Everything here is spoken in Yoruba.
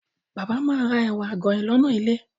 Bàbá ma ra ẹ̀wà àgànyìn lọ́nà ilé.